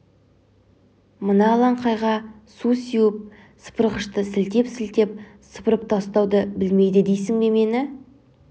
мына алаңқайға су сеуіп сыпырғышты сілтеп-сілтеп сыпырып тастауды білмейді дейсің бе мені